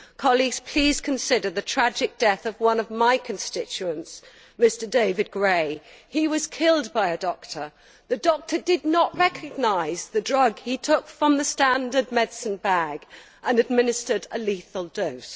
Colleagues, please consider the tragic death of one of my constituents, Mr David Gray. He was killed by a doctor. The doctor did not recognise the drug he took from the standard medicine bag and administered a lethal dose.